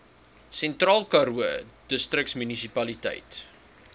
sentraalkaroo distriksmunisipaliteit